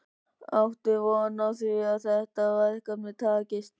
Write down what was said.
Áttu von á því að þetta verkefni takist?